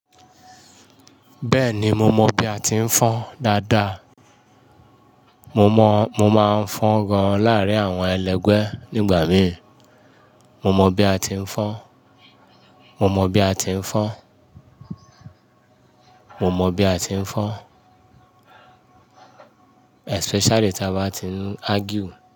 Bẹ́ẹ̀ni, mo mọ bi a ti ń fọ́n dáadáa. Mo mọ, mo máa ń fọ́n gan láàárín àwọn ẹlẹ́gbẹ́ nígbà mií. Mo mọ bi a ti ń fọ́n, mo mọ bi a ti ń fọ́n, mo mọ bi a ti ń fọ́n. Especially tí a bá ti ń argue.